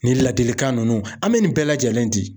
Nin ladilikan ninnu an bɛ nin bɛɛ lajɛlen di.